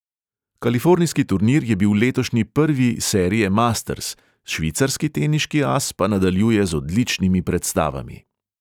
Kalifornijski turnir je bil letošnji prvi serije masters, švicarski teniški as pa nadaljuje z odličnimi predstavami.